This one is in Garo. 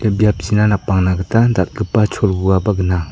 biapchina napangna gita dal·gipa cholgugaba gnang.